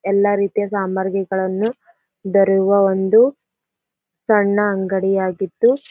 ಎಲ್ಲಾ ರೀತಿಯ ಸಾಮರ್ಗಿಗಳನ್ನು ದೊರೆಯುವ ಒಂದು ಸಣ್ಣ ಅಂಗಡಿಯಾಗಿದ್ದು--